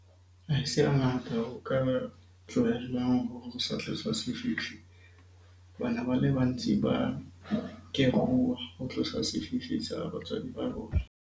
Ha se hangata o ka ba tlohellang ho sefifi hobane ba le bantsi ba keruwa ho tlosa sefifi sa batswadi ba rona.